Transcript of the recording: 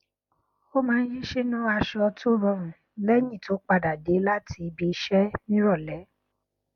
ó maá n yí sínú aṣọ tó rọrùn lẹyìn tó padà dé láti ibi iṣẹ ní ìrọlẹ